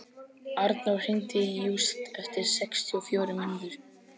Arnór, hringdu í Júst eftir sextíu og fjórar mínútur.